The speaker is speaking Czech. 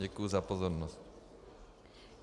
Děkuji za pozornost.